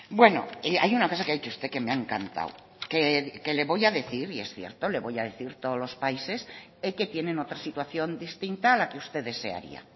bueno hay una cosa que ha dicho usted que me ha encantado que le voy a decir y es cierto le voy a decir todos los países que tienen otra situación distinta a la que usted desearía